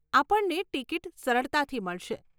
આપણને ટિકીટ સરળતાથી મળશે.